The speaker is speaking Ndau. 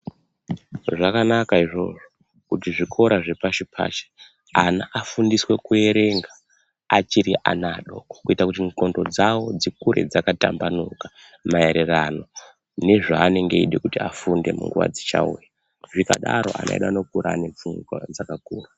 Zvakanaka izvozvo kuti zvikora zvepashi pashi ana afundiswe kuerenga achiri ana adoko kuita kuti muklondo dzavo dzikure dzakatambanuka maererano nezvaanenge eide kuti afunde munguva dzichauya, zvingadaro ana edu anokura ane pfungwa dzaka vhurika.